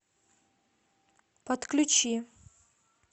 подключи